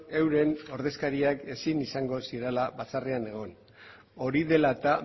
euren ordezkariak ezin izango zirela batzarrean egon hori dela eta